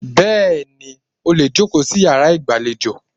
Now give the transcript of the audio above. Bẹ́ẹ̀ni, ó lè jòkó sí yàrá ìgbàlejò.